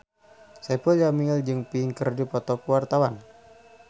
Saipul Jamil jeung Pink keur dipoto ku wartawan